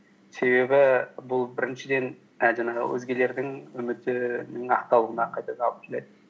себебі бұл біріншіден ә жаңағы өзгелердің үмітінің ақталуына қайтадан алып келеді